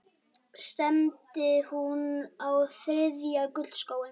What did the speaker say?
Stefnir hún á þriðja gullskóinn?